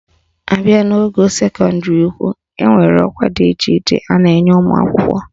Abịa n'ogo sekọndịrị ukwu, enwere ọkwa dị iche iche a na-enye ụmụakwụkwọ